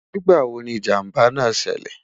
nígbà wò ní ìjàmbá nà ṣẹlẹ?